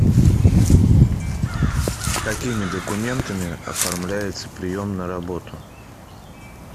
какими документами оформляется прием на работу